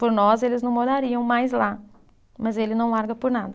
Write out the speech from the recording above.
Por nós eles não morariam mais lá, mas ele não larga por nada.